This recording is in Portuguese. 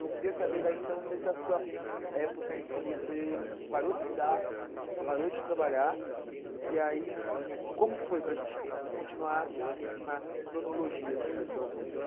Eu queria saber daí então dessa sua época em que você parou de estudar, parou de trabalhar, e aí como que foi para gente continuar na cronologia assim da sua vida?